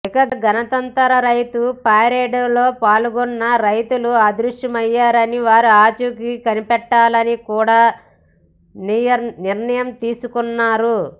ఇక గణతంత్ర రైతు పరేడ్లో పాల్గొన్న రైతులు అదృశ్యమయ్యారని వారి ఆచూకీ కనిపెట్టాలని కూడా నిర్ణయం తీసుకున్నారు